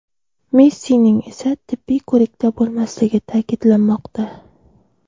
Messining esa tibbiy ko‘rikda bo‘lmasligi ta’kidlanmoqda.